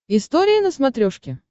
история на смотрешке